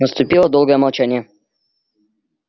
наступило долгое молчание